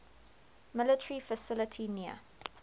military facility near